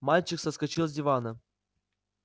мальчик соскочил с дивана